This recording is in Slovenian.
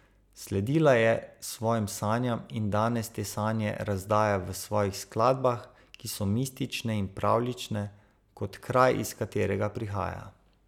Sledila je svojim sanjam in danes te sanje razdaja v svojih skladbah, ki so mistične in pravljične, kot kraj, iz katerega prihaja.